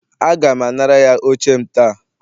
Aga m anara ya oche m ta